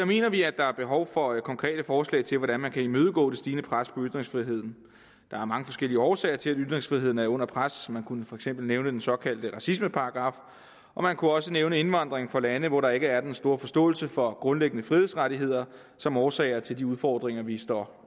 mener vi at der er behov for konkrete forslag til hvordan man kan imødegå det stigende pres på ytringsfriheden der er mange forskellige årsager til at ytringsfriheden er under pres man kunne for eksempel nævne den såkaldte racismeparagraf og man kunne også nævne indvandring fra lande hvor der ikke er den store forståelse for grundlæggende frihedsrettigheder som årsager til de udfordringer vi står